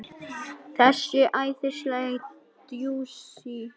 Þessi æðislega djúsí!